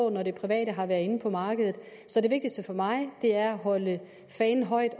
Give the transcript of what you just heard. med at det private har været inde på markedet så det vigtigste for mig er at holde fanen højt